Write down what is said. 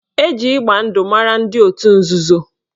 Eji ịgba ndụ mara ndị otu nzuzo